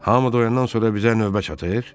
Hamı doyandan sonra bizə növbə çatır?